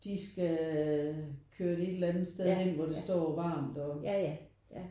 De skal køre det et eller andet sted hen hvor det står varmt og